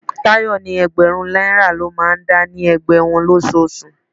Tayọ ni ẹgbẹ̀rún náírà lọ máa ń dá ní ẹgbẹ́ wọn losoosu.